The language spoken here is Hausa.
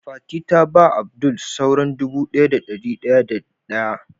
Fati ta ba Abdul sauran dubu daya da dari daya da daya.